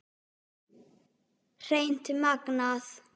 Hreint magnað!